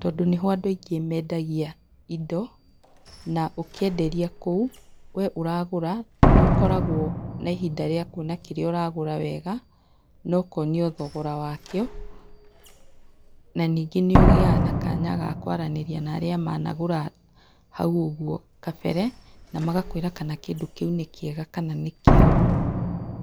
tondũ nĩho andũ aingĩ mendagia indo na ũkĩenderio kũu, we ũragũra nĩũkoragwo na ihinda rĩa kwĩyonera kĩrĩa ũragũra wega na ũkonio thogora wakĩo. Na nyingĩ nĩũkoragwo na kanya ga kwaranĩria na arĩa managũra hau ũguo kabere na magakwĩra kana kĩndũ kĩu nĩ kĩega kana nĩkĩuru.